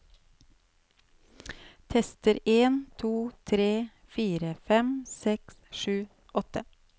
Tester en to tre fire fem seks sju åtte